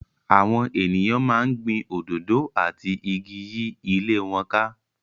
Àwọn ènìyàn máa ń gbin òdòdó àti igi yí ilé wọn ká.